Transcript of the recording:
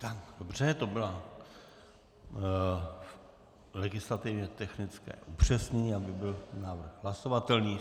Dobře, to bylo legislativně technické upřesnění, aby byl návrh hlasovatelný.